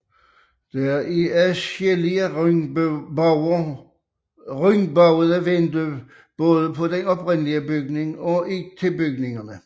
Der er adskillige rundbuede vinduer både på den oprindelige bygning og tilbygningerne